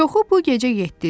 Çoxu bu gecə getdi.